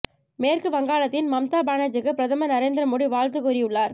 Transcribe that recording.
மேற்கு வங்காளத்தின் மம்தா பானர்ஜிக்கு பிரதமர் நரேந்தர மோடி வாழ்த்து கூறியுள்ளார்